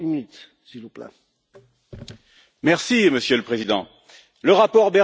Monsieur le Président, le rapport Bergeron ne présente rigoureusement aucun intérêt.